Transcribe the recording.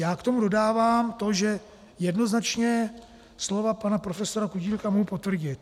Já k tomu dodávám to, že jednoznačně slova pana profesora Kutílka mohu potvrdit.